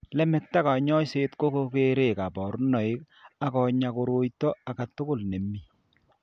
Lemakta kanyoiset ko koreek kabarunoik ako nya koroito age tugul ne mii.